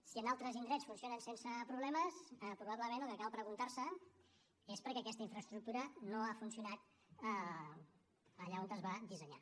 si en altres indrets funcionen sense problemes probablement el que cal preguntar se és per què aquesta infraestructura no ha funcionat allà on es va dissenyar